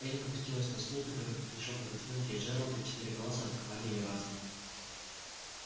эллин опустилась на стул который поспешил пододвинуть ей джералд и четыре голоса атаковали её разом